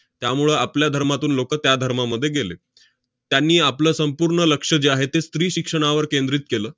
त्यामुळं आपल्या धर्मातून लोकं त्या धर्मामध्ये गेले. त्यांनी आपलं संपूर्ण लक्ष जे आहे ते स्त्रीशिक्षणावर केंद्रित केलं.